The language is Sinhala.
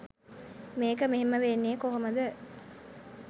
මේක මෙහෙම වෙන්නෙ කොහොමද?